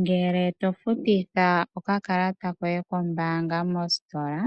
Ngele to futitha okakalata koye kombaanga mositola